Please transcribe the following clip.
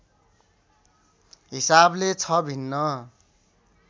हिसाबले छ भिन्न